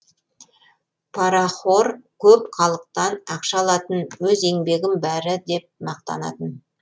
парахор көп халықтан ақша алатын өз еңбегім бәрі деп мақтанатын